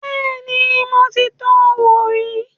Bẹ́ẹ̀ni, mo ti tọ wò rí